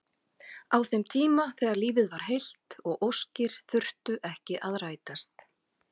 Á þeim tíma þegar lífið var heilt og óskir þurftu ekki að rætast.